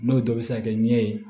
N'o dɔ bɛ se ka kɛ ɲɛ ye